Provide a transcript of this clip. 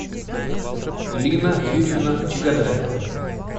лина юрьевна чегодаева